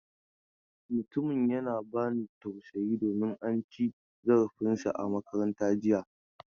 Mutumin yana ba ni tausayi domin an ci zarafin sa a makaranta jiya.